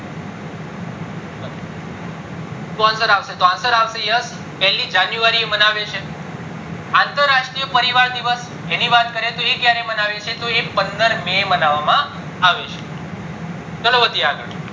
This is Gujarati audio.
સુ answer આવશે yes પેલી january એ મનાવે છે અંતર રાષ્ટ્રીય પરિવાર દિવસ જેની વાત કરીએ તો એ ક્યારે માવ્યે છે તો એ પંદર may માનવામાં આવે છે ચાલો વધીએ આગળ